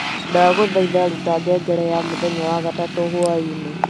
Ndagũthaitha ruta ngengere ya mũthenya wa gatatũ hwaĩinĩ